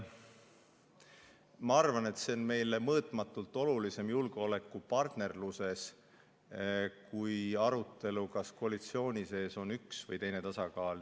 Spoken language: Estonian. Ma arvan, et see on meile julgeolekupartnerluses mõõtmatult olulisem kui arutelu, kas koalitsiooni sees on üks või teine tasakaal.